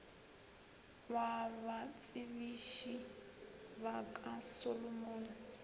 wa batsebiši ba ka solomon